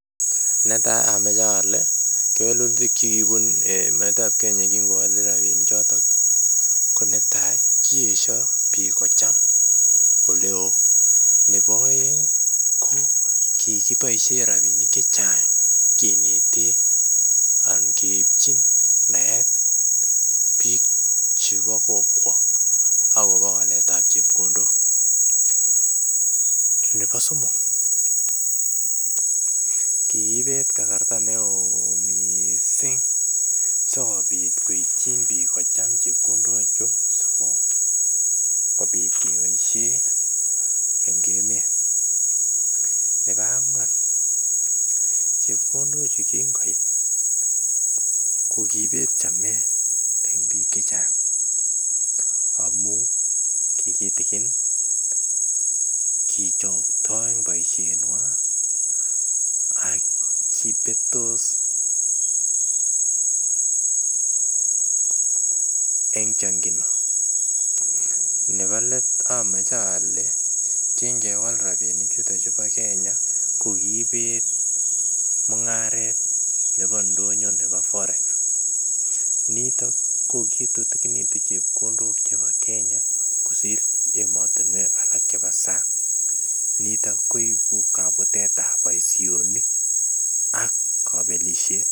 Netai amoche ole kewelutik chikibun emeet ab Kenya king'owole rabinik chotok ,ko netai kiyeisio biik kocham, nebo oeng ko kikiboisien rabinik chechang' kinetee anan keibchin naet biik chebo kokwa akobo waletab ab chepkondok, nebo somok ,kiibet karasta neo missing sikobit koityi biik kocham chepkondok asikobit keboisien en emeet, nebo anywan, chepkondochu kinking'oit ko kiibet chamet en biik chechang' amun ki gitigin ,kichoktoi en boisienywan ak kibetos en chong'indo ,nebo leet amoche ole king'ewal rabinik choton chebo Kenya ko kiibet mungaret nebo ndonyo nebo Forex ,niton ki kitutigitun chepkondok chebo Kenya kosir emotunuek alak chebo sang niton koibu kabutet ab boisionik ak kobelisyet.